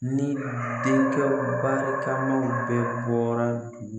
Ni denkɛ barikamaw bɛ bɔra dugu